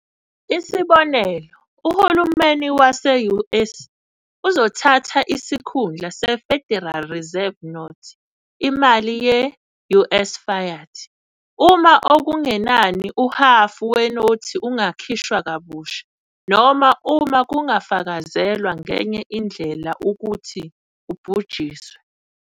Isibonelo, uhulumeni wase-US uzothatha isikhundla seFederal Reserve Notes, imali ye-US fiat, uma okungenani uhhafu wenothi ungakhiwa kabusha, noma uma kungafakazelwa ngenye indlela ukuthi ubhujisiwe.